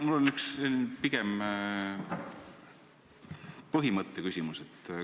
Mul on selline pigem põhimõtte küsimus.